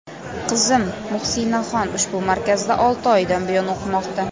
Qizim Muhsinaxon ushbu markazda olti oydan buyon o‘qimoqda.